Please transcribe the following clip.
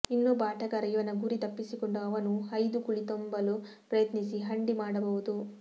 ಇನ್ನೊಬ್ಬ ಆಟಗಾರ ಇವನ ಗುರಿ ತಪ್ಪಿಸಿಕೊಂಡು ಅವನೂ ಐದು ಕುಳಿ ತುಂಬಲು ಪ್ರಯತ್ನಿಸಿ ಹಂಡಿ ಮಾಡಬಹುದು